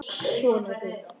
Sonur þinn.